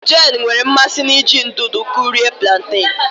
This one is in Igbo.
Jane nwere mmasị n'iji ndụdụ kụrie plantain